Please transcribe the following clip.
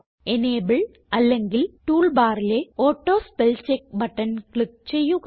enable അല്ലെങ്കിൽ tool ബാറിലെ auto spell check button click ചെയ്യുക